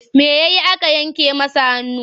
Me ya yi aka yanke masa hannu?